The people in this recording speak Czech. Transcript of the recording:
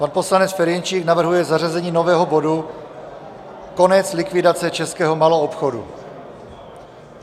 Pan poslanec Ferjenčík navrhuje zařazení nového bodu Konec likvidace českého maloobchodu.